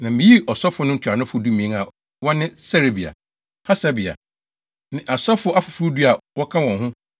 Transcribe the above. Na miyii asɔfo no ntuanofo dumien a wɔne Serebia, Hasabia ne asɔfo afoforo du a wɔka wɔn ho